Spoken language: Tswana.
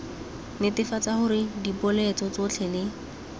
netefatsa gore dipoeletso tsotlhe le